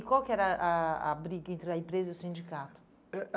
E qual que era a a briga entre a empresa e o sindicato? Eh